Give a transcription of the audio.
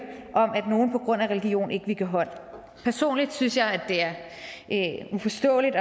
om at nogle på grund af religion ikke vil give hånd personligt synes jeg at det er uforståeligt og